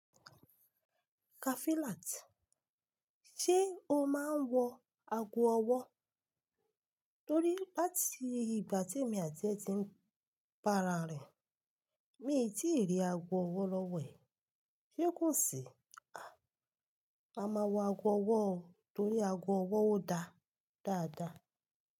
Kafilat, ṣe o máa ń wọ ago ọwọ́? Torí láti ìgbà tí èmi àti ẹ ti ń bara rin, mi tíì rí ago ọwọ́ lọ́wọ́ ẹ. Ṣé kò sí? Ma máa wọ ago ọwọ́ torí ago ọwọ́ ò dá dáadáa.